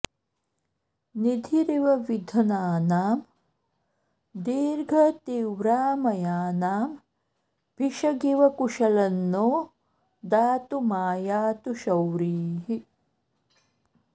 निधिरिव विधनानां दीर्घतीव्रामयानां भिषगिव कुशलं नो दातुमायातु शौरिः